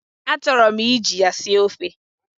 Achọrọ m iji ya sie ofe.